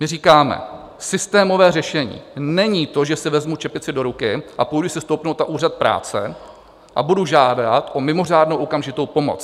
My říkáme: Systémové řešení není to, že si vezmu čepici do ruky a půjdu si stoupnout na úřad práce a budu žádat o mimořádnou okamžitou pomoc.